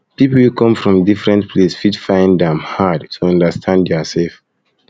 people wey come from different place fit find am um hard um to understand their sef